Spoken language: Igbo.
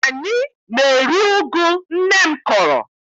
Anyị na-eri ụgụ nne m kọrọ.